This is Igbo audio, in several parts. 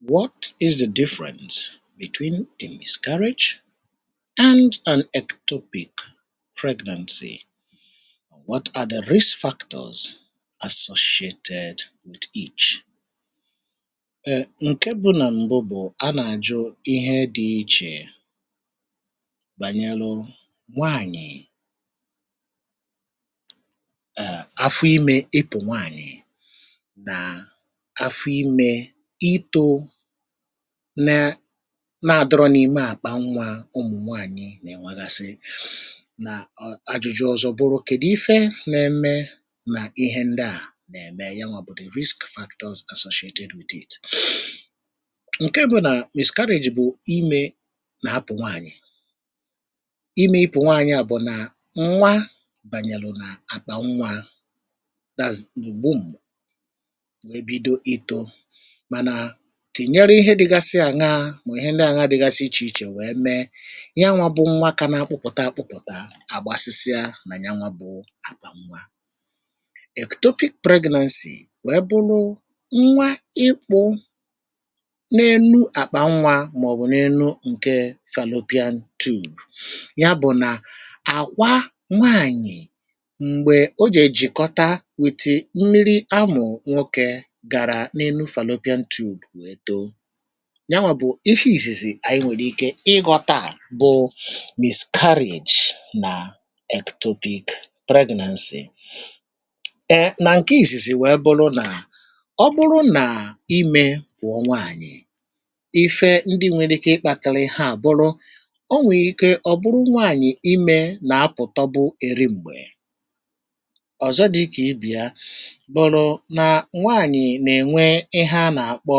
"What is the different between the miscarriage and ectopic pregnancy, what are the risk factors associated with each, um ǹke bụ nà m̀bụ bụ̀ a nà-àjụ ihe dị̇ ichèbànyelu nwaànyị̀ um afọ ime ịpụ nwaanyị na afọ ime ito na na adịrọ n'ime akpanwa ụmụ̀nwaànyị nà-ènwagasị, nà ajụ̇jụ̇ ọzọ bụrụ kedụ ife nà-ème nà ihe ndị à nà-ème ya nwa bụ̀ the risk factors associated with it, ǹke bụ̇ nà̀ miscarriage bụ̀ imė nà-apụ̀ nwaànyị̀ imė ipụ̀ nwaànyị à bụ̀ nà nwa bànyàlụ̀ nà àkpà nwa that is ụgbụm ebido ito mana tènyere ihe dịgasi àṅa mà ihe ndị àṅa dịgasi ichè ichè wee mee yanwa bụ nwa kana akpụkpọta akpụkpọta à gbasịsịa nà yanwaȧ bụ àkpànwa.̀ Ectopic pregnancy wee bụlụ nwa ikpụ na-enu àkpà nnwa màọbụ n’enu ǹke ̀ fallopian tube ya bụ̀ nà àkwà nwaànyị̀ m̀gbè o jèè jìkọta ̀ with mmiri amụ̀ nwokė gara n'elù fallopian tube wee too ,nyanwà bụ̀ ife ìzìzì ànyị nwèrè ike ịghọtȧà bụ̀ miscarriage nà ectopic pregnancy. [Um]nà ǹkè ìzìzì wèe bụlụ nà ọ bụrụ nà imė pụọ nwaànyị̀ ,ife ndị nwere ike ịkpȧtȧlị ihe a bụrụ o nwèrè ike ọ̀ bụrụ imė nà-apụ̀tọ bụ̀ ri̇ m̀gbè, ọ̀zọ dịkà ibe ya bụrụ nwaanyị na enwe ihe ana akpọ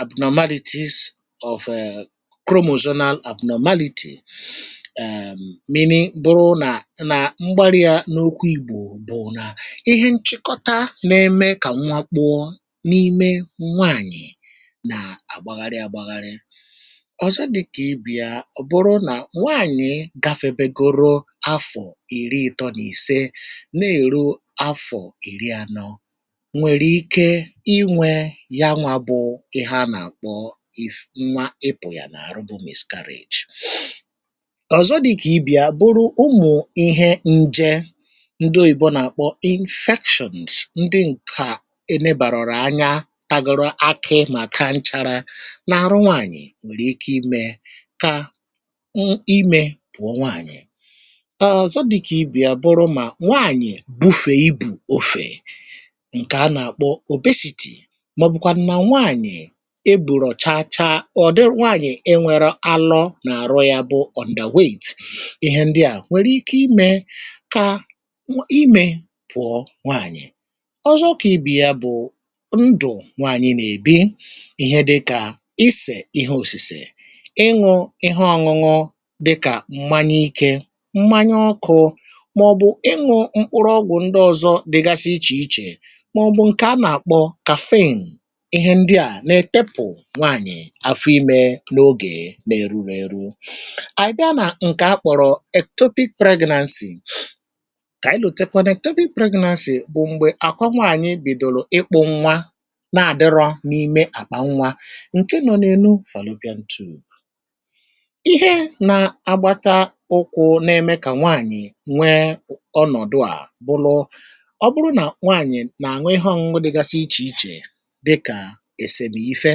abnormalities of um Chromosonal abnormality [um]meaning bụrụ nà nà mgbarịa n’okwu ìgbò bụ na ihe nchịkọta na-eme kà nwa kpụọ n’ime nwaànyị nà-agbagharị agbagharị. Ọzọ dị kà ibù ya bụrụ nà nwaànyị gafèwegoro afọ̀ ìri ịtọ nì ise na-èru afọ̀ ìri anọ nwere ike nyanwa bụ if nwa ịpụ ya n’àrụ bụ miscarriage, ọ̀zọ dị kà ibe ya bụrụ ụmụ̀ ihe nje ndị oyibo nà-àkpọ̀ infections ndị ǹkà e nebàrọ̀rọ̀ anya tagoro akị mà ka nchara n’arụ nwaanyị̀ nwèrè ike imė kà m imė pụ̀ọ nwaanyị̀. Ọzọ dị kà ibe ya bụrụ mà nwaanyị̀ bufè ibù ofè ǹkè a nà-àkpọ obesity maọbụkwanu nwaanyị e bùlọ chachaa or dị nwaànyị̀ enwėrė alọ nà-àrụ ya bụ underweight ,ihe ndịà nwèrè ike imė kà imė pụ̀ọ nwaànyị̀. Ọzọ kà ibe ya bụ̀ ,ndụ̀ nwaànyị nà-èbi ihe dịkà isè ihe òsìsè, ịṅụ̇ ihe ọṅụṅụ dịkà m̀manye ikė ,m̀manye ọkụ màọ̀bụ̀ ịṅụ̇ mkpụrụ ọgwụ̀ ndị ọ̀zọ dịgasị ichè ichè màọ̀bụ̀ ǹkè anà àkpọ ̀ Caffeine ,ihe ndịa na etepụ nwaanyị àfụ imė n’ogè nà-eruru̇ ėru. Abia nà ǹkè akpọ̀rọ̀ ̀ Ectopic pregnancy, kà anyị lotekwȧ nà̀ ectopic pregnancy bụ̀ m̀gbè àkwà nwaànyị bìdòrò ịkpụ̇ nwa na-àdịrọ̇ n’ime àkpà nwa ǹke nọ̇ n’enù fallopian tube. Ihe nȧ-agbata ụkwụ̇ na-eme kà nwaànyị̀ nwee ọnọ̀dụ à bụrụ̇, ọ bụrụ nà nwaànyị̀ nà aṅụ ihe ọṅụṅụ dịgasi ichè ichè dịkà esemife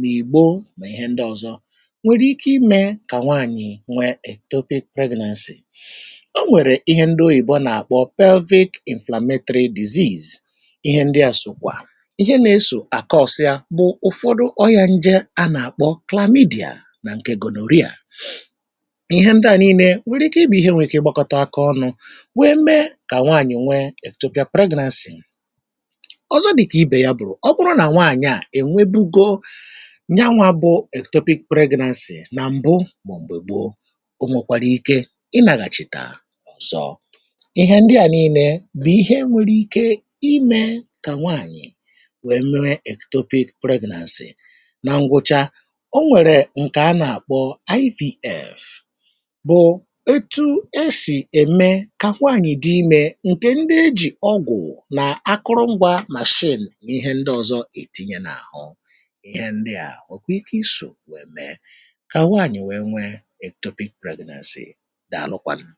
na igbo mà ihe ndị ọzọ nwèrè ike imė kà nwaànyị̀ nweè ectopic pregnancy. O nwèrè ihe ndị oyìbò nà-àkpọ pelvic inflametry disease ihe ndị à sòkwà ihe na-esò àkaọ̀sịa bụ ụ̀fọdụ ọyȧ nje a nà-àkpọ̀ Chlamydia nà ǹkè gonorrhea ,ihe ndị à nii̇nė nwèrè ike i bụ̇ ihe nwèrè ike ịgbȧkọta aka ọnụ̇ wee mee kà nwaànyị̀ nwee ̀ ectopia pregnancy. Ọzọ dị̀kà ibè ya bụ̀, ọ bụrụ nà nwaànyị̀ à enwebugo nyawȧ bụ̀ ectopic pregnancy nà m̀bụ m̀gbè maọbụ gboo, onwokwara ike ị nàgàchità ọ̀zọ ,ihe ndị à nii̇nė bụ̀ ihe enwèrè ike imė kà nwaànyị̀ wee mee ̀ ectopic pregnancy. Nà ǹgwụcha o nwèrè ǹkè a nà-àkpọ ""IVF"" bụ̀ ètù esì ème kà nwaànyị̀ dị imė ǹkè ndị ejì ọgwụ̀ nà akụrụngwȧ ̀ machine n’ihe ndị ọ̀zọ ètinye nà àhụ ,ihe ndịa nwee ike iso wee mee ka nwaanyị nweè ectopic pregnancy. Dalụkwanụ̀"